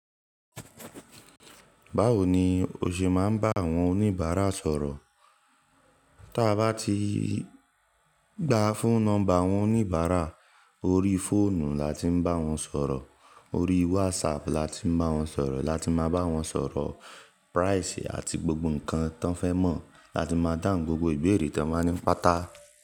Báwo ni o ṣe máa ń bá àwọn oníbàárà sọ̀rọ̀? Tí a bá ti gba fún nọ́mbà àwọn oníbàárà, orí fóònù la ti ń bá wọn sọ̀rọ̀, orí WhatsApp la ti ń bá wọn sọ̀rọ̀, la tí máa bá wọn sọ̀rọ̀ price àti gbogbo ǹkan tí wọ́n fẹ́ mọ̀. La tí máa dáhùn gbogbo ìbéèrè tí wọ́n bá ní pàtàkì.